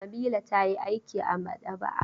Nabila ta yi aiki a maɗaba'a.